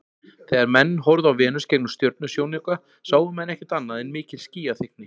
Þegar menn horfðu á Venus gegnum stjörnusjónauka sáu menn ekkert annað en mikil skýjaþykkni.